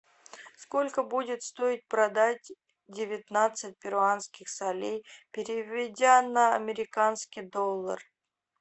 сколько будет стоить продать девятнадцать перуанских солей переведя на американский доллар